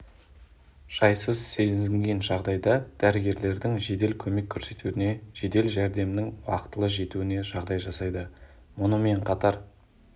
жайсыз сезінген жағдайда дәрігерлердің жедел көмек көрсетуіне жедел жәрдемнің уақытылы жетуіне жағдай жасайды мұнымен қатар